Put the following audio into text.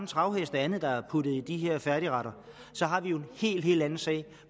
travheste og andet der er blevet puttet i de her færdigretter så har vi jo en helt helt anden sag